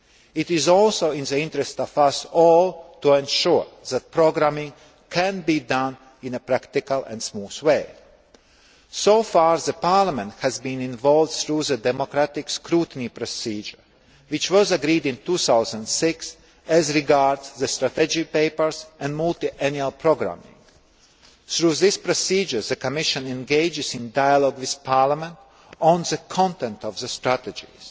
It is also in the interests of us all to ensure that programming can be done in a practical and smooth way. So far, Parliament has been involved through the democratic scrutiny procedure which was agreed in 2006 as regards the strategic papers and multiannual programming. Through these procedures, the Commission engages in dialogue with Parliament on the content of the strategies.